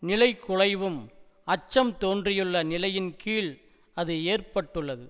நிலைகுலைவும் அச்சம் தோன்றியுள்ள நிலையின் கீழ் அது ஏற்பட்டுள்ளது